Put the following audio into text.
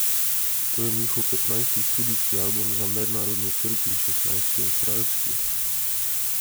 To je njihov petnajsti studijski album za mednarodni trg in šestnajsti avstralski.